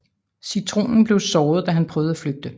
Citronen blev såret da han prøvede at flygte